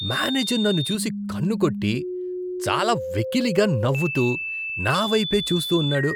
Manager నన్ను చూసి కన్నుకొట్టి, చాలా వెకిలిగా నవ్వుతూ నా వైపే చూస్తూ ఉన్నాడు.